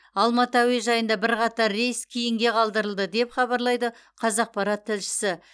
алматы әуежайында бірқатар рейс кейінге қалдырылды деп хабарлайды қазақпарат тілшісі